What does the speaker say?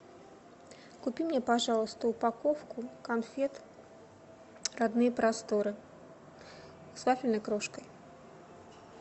купи мне пожалуйста упаковку конфет родные просторы с вафельной крошкой